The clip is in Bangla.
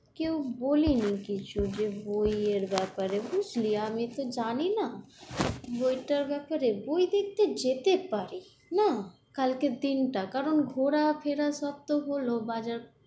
কেউ বলেনি কিছু, যে বই এর ব্যাপারে বুঝলি, আমি তো জানি না। বইটার ব্যাপারে, বই দেখতে যেতে পারি, না কালকের দিনটা কারণ ঘোরা ফেরা সব তো হল, বাজার